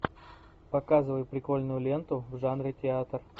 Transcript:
показывай прикольную ленту в жанре театр